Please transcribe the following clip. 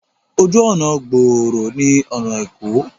Ojú ọnà gbòòrò ni ọna Eko.